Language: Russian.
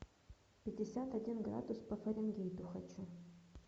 пятьдесят один градус по фаренгейту хочу